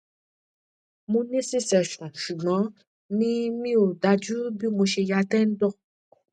mo ní c section ṣùgbọn mi mi ò dájú bí mo ṣe ya tendon